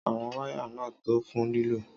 Àwon wáyà náà tó fun lílò.